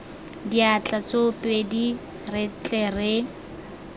diatla tsoopedi re tle re